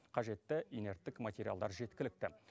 қажетті инерттік материалдар жеткілікті